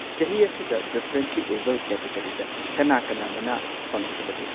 ꯆꯍꯤ ꯑꯁꯤꯗ ꯗꯤꯐꯔꯦꯟꯠꯂꯤ ꯑꯦꯕꯜꯗ ꯀꯦꯇꯒꯔꯤꯗ ꯀꯅꯥ ꯀꯅꯥ ꯃꯅꯥ ꯐꯪꯈꯤꯕꯒꯦ?